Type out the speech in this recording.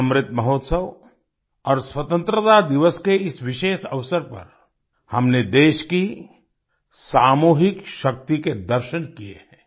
अमृत महोत्सव और स्वतंत्रता दिवस के इस विशेष अवसर पर हमने देश की सामूहिक शक्ति के दर्शन किए हैं